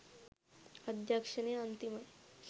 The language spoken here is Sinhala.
අධ්‍යක්ෂණය අන්තිමයි